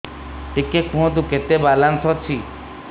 ଟିକେ କୁହନ୍ତୁ କେତେ ବାଲାନ୍ସ ଅଛି